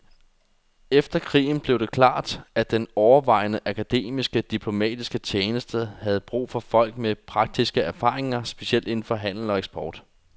Efter krigen blev det klart, at den overvejende akademiske diplomatiske tjeneste havde brug for folk med praktiske erfaringer, specielt inden for handel og eksport.